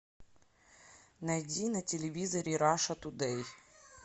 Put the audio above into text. найди на телевизоре раша тудэй